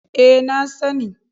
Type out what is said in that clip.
E, na sani.